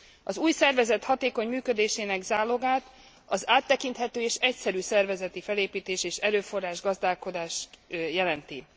Az új szervezet hatékony működésének zálogát az áttekinthető és egyszerű szervezeti felépítés és erőforrás gazdálkodás jelenti.